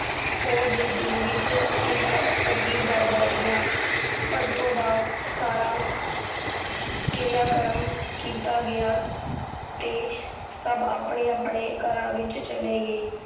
ਉਦੇ ਦਿਲ ਵਿੱਚ ਇੱਕ ਅਜੀਬ ਡਰ ਬੈਠ ਗਿਆ ਭਤੋ ਦਾ ਸਾਰਾ ਕਿਰਿਆ ਕਰਮ ਕੀਤਾ ਗਿਆ ਤੇ ਸੱਭ ਆਪਣੇ ਆਪਣੇ ਘਰਾਂ ਵਿੱਚ ਚਲੇ ਗਏ